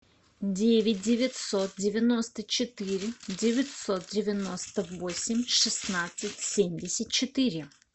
девять девятьсот девяносто четыре девятьсот девяносто восемь шестнадцать семьдесят четыре